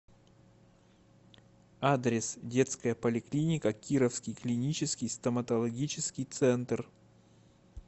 адрес детская поликлиника кировский клинический стоматологический центр